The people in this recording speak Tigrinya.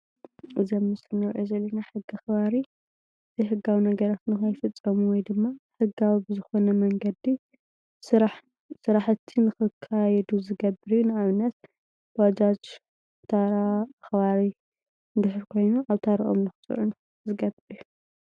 እዚ ኣብ ምስሊ እንሪኦ ዘለና ሕጊ ኣኽባሪ ናይ ሕጋዊ ነገራት ንኽፍፀሙ ወይ ድማ ሕጋዊ ብዝኾነ መንገዲ ስራሕቲ ክኽካየዱ ዝገብር ንኣብነት:- ባጃጅ ታራ ከባቢ እንድሕር ኮይኑ ኣበ ታርኡ ንኽፅዕኑ ዝገብር እዩ።